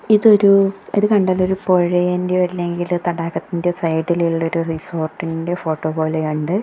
ഇതൊരു ഇത് കണ്ടാല് ഒരു പോഴെൻ്റെയോ അല്ലെങ്കില് തടാകത്തിൻ്റെയോ സൈഡി ലുള്ള ഒരു റിസോർട്ടിൻ്റെയോ ഫോട്ടോ പോലെയുണ്ട്.